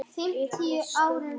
Upprétt stóð hún óstudd.